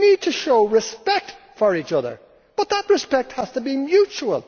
We need to show respect for each other, but that respect has to be mutual.